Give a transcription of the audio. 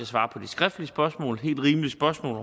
svare på de skriftlige og helt rimelige spørgsmål